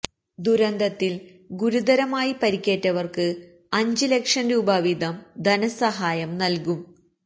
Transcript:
ദുരന്തത്തില് ഗുരുതരമായി പരിക്കേറ്റവര്ക്ക് അഞ്ച് ലക്ഷം രൂപ വീതം ധനസഹായം നല്കും